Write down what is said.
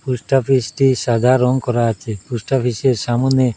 পোস্টঅফিসটি সাদা রং করা আছে পোস্টঅফিসের সামোনে --